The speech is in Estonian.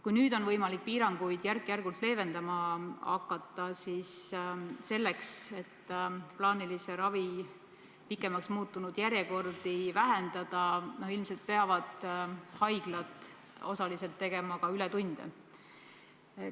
Kui nüüd on võimalik piiranguid järk-järgult leevendama hakata, siis selleks, et plaanilise ravi pikemaks muutunud järjekordi vähendada, peavad haiglad ilmselt osaliselt tegema ka ületunde.